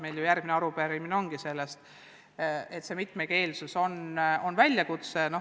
Meil ju järgmine arupärimine ongi selle kohta, et mitmekeelsus on väljakutse.